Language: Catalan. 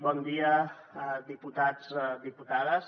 bon dia diputats diputades